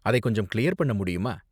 அதை கொஞ்சம் கிளியர் பண்ண முடியுமா?